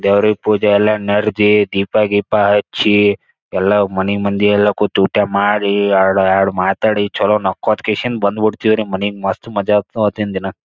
ದೆವರಿಗ ಪೂಜ ಎಲ್ಲಾ ದೀಪಾ ಗಿಪಾ ಹಚ್ಚಿ ಎಲ್ಲಾ ಮನಿ ಮಂದಿ ಎಲ್ಲಾ ಕುಂತ ಊಟ ಮಾಡಿ ಎರಡು ಎರಡು ಮಾತಾಡಿ ಚಲೊ ನಕ್ಕೊತಕೆಸಿಂದ ಬಂದ ಬಿಡ್ತಿವ್ರಿ ಮನಿಗ ಮಸ್ತ ಮಜಾ ಇರ್ತದ್ರಿ ಅವತಿನ ದಿನ.